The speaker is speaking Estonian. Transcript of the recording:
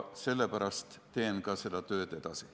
Sellepärast teen ka seda tööd edasi.